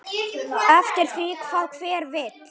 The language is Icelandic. Eftir því hvað hver vill.